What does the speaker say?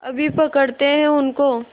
अभी पकड़ते हैं उनको